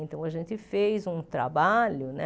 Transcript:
Então, a gente fez um trabalho, né?